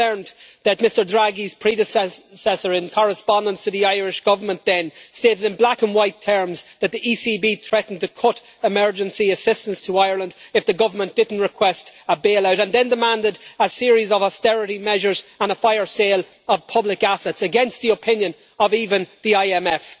We've learned that Mr Draghi's predecessor, in correspondence to the Irish Government, stated in black-and-white terms that the ECB threatened to cut emergency assistance to Ireland if the government didn't request a bailout, and then demanded a series of austerity measures and a fire sale of public assets, against the opinion of even the IMF.